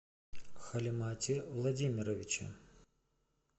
халимате владимировиче